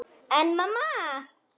En mamma!